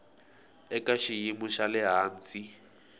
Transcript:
eka xiyimo xa le hansi